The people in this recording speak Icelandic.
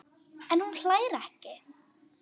En hún hlær ekki.